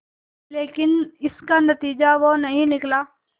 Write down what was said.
लेकिन इसका नतीजा वो नहीं निकला